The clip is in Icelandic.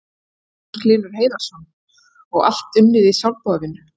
Magnús Hlynur Hreiðarsson: Og allt unnið í sjálfboðavinnu?